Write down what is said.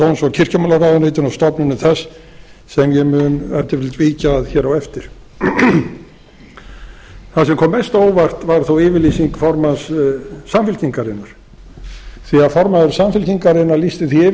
kirkjumálaráðuneytinu og stofnunum þess sem ég mun ef til vill víkja að hér á eftir það sem kom mest á óvart var þó yfirlýsing formanns samfylkingarinnar því að formaður samfylkingarinnar lýsti því yfir að